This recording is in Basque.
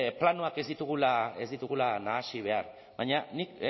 planoak ez ditugula nahasi behar baina nik